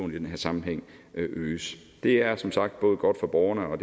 i den her sammenhæng øges det er som sagt både godt for borgerne og